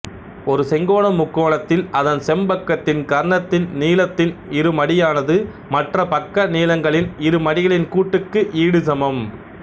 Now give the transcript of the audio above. ஒரு செங்கோண முக்கோணத்தில் அதன் செம்பக்கத்தின் கர்ணத்தின் நீளத்தின் இருமடியானது மற்ற பக்க நீளங்களின் இருமடிகளின் கூட்டுக்கு ஈடு சமம்